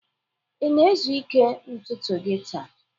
ị na-ezu ike ntutu gị taa?